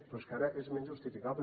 però és que ara és menys justificable